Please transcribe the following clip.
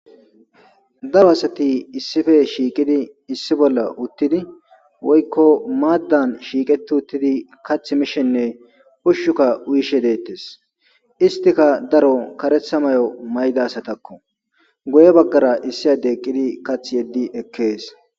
Daro asati issife shiiqidi issi bolla uttidi woykko maaddan shiiqeti uttidi kath mishenne ushshuka uyishe deettes istika daro karetha may'o mayda asatakko goye baggara issi ade eqqidi kath yeddi ekkees.